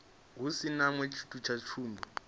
ha tshiṅwe tshithu sa tsumbo